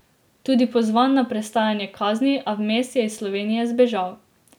Tudi pozvan na prestajanje kazni, a vmes je iz Slovenije zbežal.